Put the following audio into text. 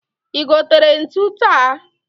I gotere ntu taa?